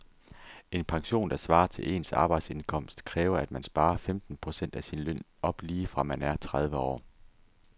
En pension, der svarer til ens arbejdsindkomst, kræver at man sparer femten procent af sin løn op lige fra man er tredive år.